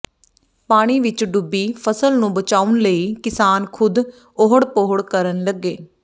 ਪਾਣੀ ਵਿੱਚ ਡੁੱਬੀ ਫਸਲ ਨੂੰ ਬਚਾਉਣ ਲਈ ਕਿਸਾਨ ਖੁਦ ਓਹੜ ਪੋਹੜ ਕਰਨ ਲੱਗੇ